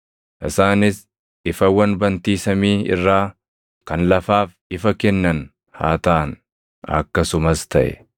isaanis ifawwan bantii samii irraa kan lafaaf ifa kennan haa taʼan.” Akkasumas taʼe.